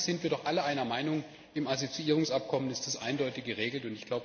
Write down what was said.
Inhaltlich sind wir doch alle einer Meinung, im Assoziierungsabkommen ist das eindeutig geregelt.